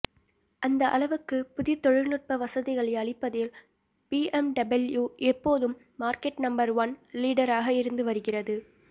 அந்த அளவுக்கு புதிய தொழில்நுட்ப வசதிகளை அளிப்பதில் பிஎம்டபிள்யூ எப்போதும் மார்க்கெட் நம்பர் ஒன் லீடராக இருந்து வருகிறது